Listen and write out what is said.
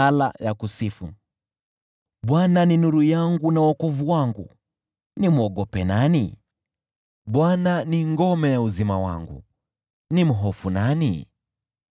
Bwana ni nuru yangu na wokovu wangu, nimwogope nani? Bwana ni ngome ya uzima wangu, nimhofu nani?